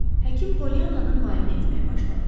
Həkim Polyannanı müayinə etməyə başladı.